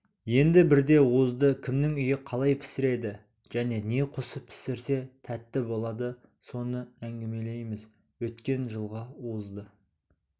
енді бірде уызды кімнің үйі қалай пісіреді және не қосып пісірсе тәтті болады соны әңгімелейміз өткен жылғы уызды